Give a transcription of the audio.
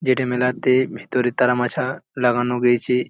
যেটা মেলাতে ভিতরে তারা মাছা লাগানো গিয়েছে।